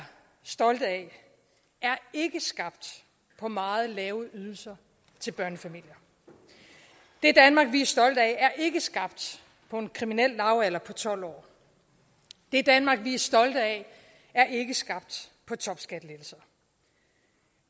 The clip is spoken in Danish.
stolte af er ikke skabt på meget lave ydelser til børnefamilier det danmark vi er stolte af er ikke skabt på en kriminel lavalder på tolv år det danmark vi er stolte af er ikke skabt på topskattelettelser